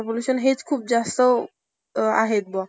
पण आहे ते ज्यांना त्रास होतो ना त्यांना कळत . आता तुझा